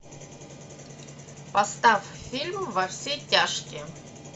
поставь фильм во все тяжкие